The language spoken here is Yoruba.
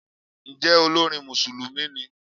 Ǹjẹ́ olórin Mùsùlùmí ni?